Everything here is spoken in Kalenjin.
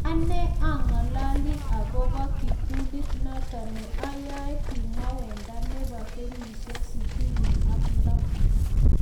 "Anee ang'alale agobo kiptulit noton ne oyoe," kimwa Wenger nebo kenyisiek 66.